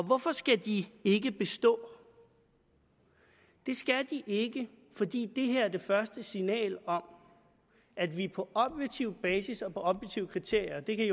hvorfor skal de ikke bestå det skal de ikke fordi det her er det første signal om at vi på objektiv basis og på objektive kriterier og det kan